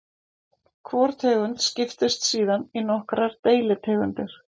Hvor tegund skiptist síðan í nokkrar deilitegundir.